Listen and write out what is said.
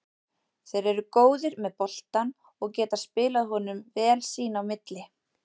Þeir eru góðir með boltann og geta spilað honum vel sín á milli.